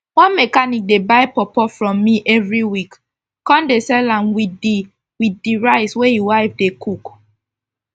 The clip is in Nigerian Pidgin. one mechanic dey buy pawpaw from me everi week kon dey sell am with d with d rice wey e wife dey cook